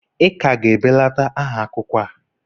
ị ka ga-ebelata nha akwụkwọ a?